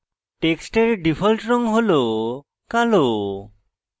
টেক্সটের ডিফল্ট রঙ হল কালো